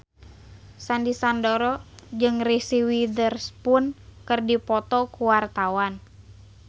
Sandy Sandoro jeung Reese Witherspoon keur dipoto ku wartawan